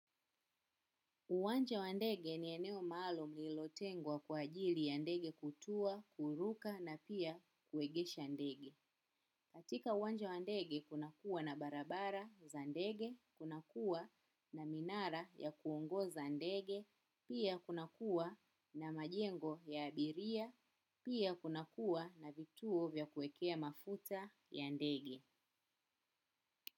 Uwanja wa ndege ni eneo maalum lilotengwa kwa ajili ya ndege kutua, kuruka na pia kuegesha ndege. Katika uwanja wa ndege kunakua na barabara za ndege kunakuwa na minara ya kuongoza ndege pia kunakuwa na majengo ya abiria pia kunakua na vituo vya kuekea mafuta ya ndege.